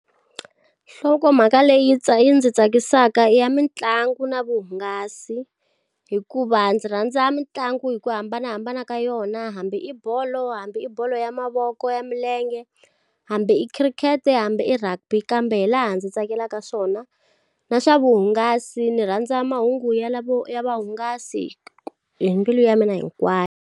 Nhlokomhaka leyi ndzi tsakisaka ya mitlangu na vuhungasi. Hikuva ndzi rhandza mitlangu hi ku hambanahambana ka yona, hambi i bolo hambi i bolo ya mavoko, bolo ya milenge, hambi i khirikhete, hambi i rugby kambe laha ndzi tsakelaka swona. Na swa vuhungasi ni rhandza mahungu ya lavo ya vuhungasi hi mbilu ya mina hinkwayo.